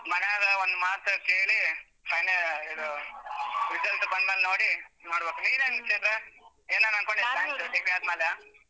ಮನೇಲಿ ಒಂದ್ ಮಾತು ಕೇಳಿ final ಇದು result ಬಂದ್ಮೇಲ್ ನೋಡಿ ಮಾಡ್ಬೇಕು ನೀನೇನ್ ಚೈತ್ರ ಏನಾರ್ ಅನ್ಕೊಂಡ್ಯ .